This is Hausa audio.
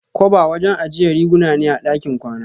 koba wajen ajiya riguna ne a ɗakin kwana.